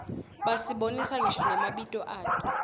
basibonisa ngisho namabito ato